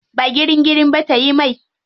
Ba girin girin ba tayi mai.